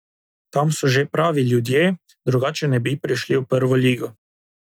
Tam so že pravi ljudje, drugače ne bi prišli v Prvo ligo.